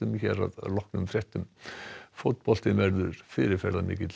hér að loknum fréttum fótboltinn verður fyrirferðamikill